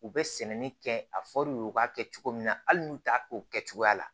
U bɛ sɛnɛni kɛ a fɔr'u ye u k'a kɛ cogo min na hali n'u t'a kɛ o kɛ cogoya la